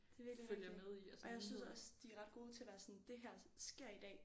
Det er virkelig rigtigt og jeg synes også de er ret gode til at være sådan det her sker i dag